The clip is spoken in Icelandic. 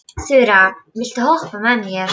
Þura, viltu hoppa með mér?